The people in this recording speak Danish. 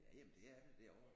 Ja ja men det er da derovre